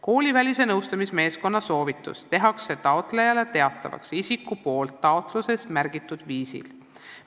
" Koolivälise nõustamismeeskonna soovitus tehakse taotlejale teatavaks isiku poolt taotluses märgitud viisil.